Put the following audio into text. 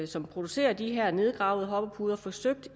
som producerer de her nedgravede hoppepuder forsøgt